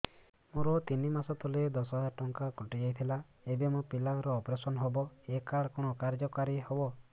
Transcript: ମୋର ତିନି ମାସ ତଳେ ଦଶ ହଜାର ଟଙ୍କା କଟି ଯାଇଥିଲା ଏବେ ମୋ ପିଲା ର ଅପେରସନ ହବ ଏ କାର୍ଡ କଣ କାର୍ଯ୍ୟ କାରି ହବ